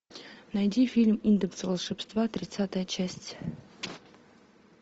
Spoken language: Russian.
найди фильм индекс волшебства тридцатая часть